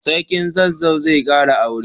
Sarkin zazzau zai kara aure.